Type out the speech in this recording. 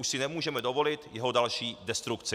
Už si nemůžeme dovolit jeho další destrukci.